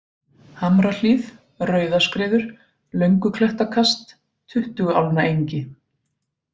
Hamrahlíð, Rauðaskriður, Lönguklettakast, Tuttuguálnaengi